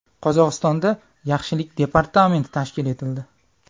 Qozog‘istonda yaxshilik departamenti tashkil etildi.